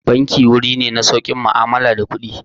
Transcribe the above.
Banki wuri ne na saukin mu'amala da kuɗi.